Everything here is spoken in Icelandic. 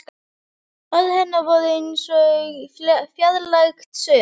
Orð hennar voru eins og fjarlægt suð.